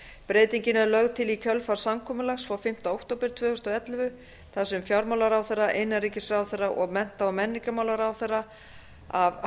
breytingin er lögð til í kjölfar samkomulags frá fimmta október tvö þúsund og ellefu þar sem fjármálaráðherra innanríkisráðherra og mennta og menningarmálaráðherra af